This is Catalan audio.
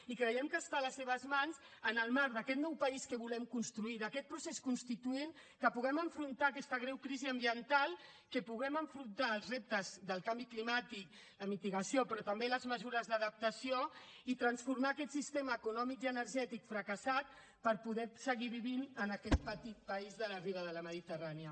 i creiem que està a les seves mans en el marc d’aquest nou país que volem construir d’aquest procés constituent que puguem afrontar aquesta greu crisi ambiental que pugem afrontar els reptes del canvi climàtic de mitigació però també les mesures d’adaptació i transformar aquest sistema econòmic i energètic fracassat per poder seguir vivint en aquest petit país de la riba de la mediterrània